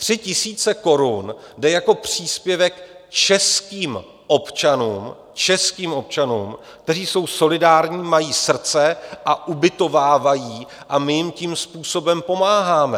Tři tisíce korun jde jako příspěvek českým občanům - českým občanům - kteří jsou solidární, mají srdce a ubytovávají, a my jim tím způsobem pomáháme.